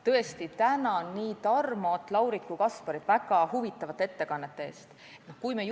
Tõesti, tänan nii Tarmot, Laurit kui Kasparit väga huvitavate ettekannete eest!